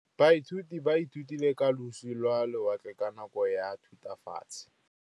Baithuti ba ithutile ka losi lwa lewatle ka nako ya Thutafatshe.